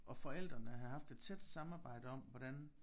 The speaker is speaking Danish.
Og forældrene havde haft et tæt samarbejde om hvordan